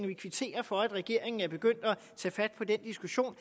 vi kvitterer for at regeringen er begyndt at tage fat på den diskussion